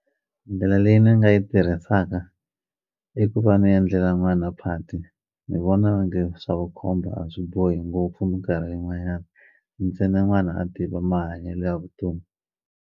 Ndlela leyi ni nga yi tirhisaka i ku va ni endlela n'wana phati ni vona onge swa vukhomba a swi bohi ngopfu minkarhi yin'wanyani ntsena n'wana a tiva mahanyelo ya vutomi.